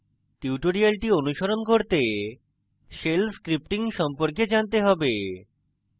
tutorial অনুসরণ করতে shell scripting সম্পর্কে জানতে have